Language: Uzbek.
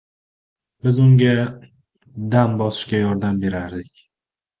Biz unga dam bosishga yordam berardik.